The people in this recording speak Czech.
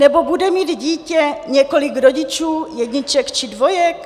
Nebo bude mít dítě několik rodičů jedniček či dvojek?